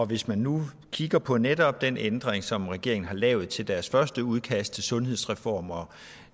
hvis man nu kigger på netop den ændring som regeringen har lavet til deres første udkast til sundhedsreform og